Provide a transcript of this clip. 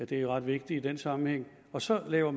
det er jo ret vigtigt i den sammenhæng og så laver